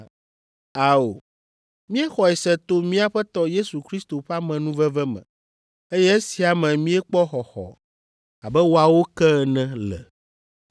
Ao, míexɔe se to mía Aƒetɔ Yesu Kristo ƒe amenuveve me, eye esia me míekpɔ xɔxɔ abe woawo ke ene le.”